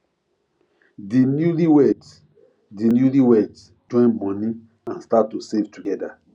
di newlyweds di newlyweds join money and start to save together